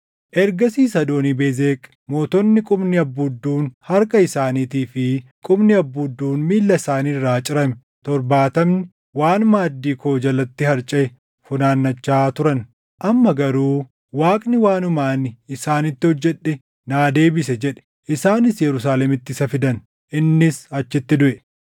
Ergasiis Adoonii-Bezeq, “Mootonni qubni abbuudduun harka isaaniitii fi qubni abbuudduun miilla isaanii irraa cirame torbaatamni waan maaddii koo jalatti harcaʼe funaannachaa turan. Amma garuu Waaqni waanuma ani isaanitti hojjedhe naa deebise” jedhe. Isaanis Yerusaalemitti isa fidan; innis achitti duʼe.